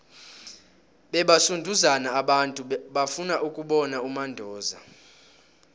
bebasunduzana abantu bafuna ukubona umandoza